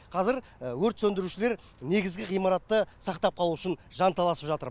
қазір өрт сөндірушілер негізгі ғимаратты сақтап қалу үшін жанталасып жатыр